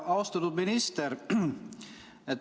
Austatud minister!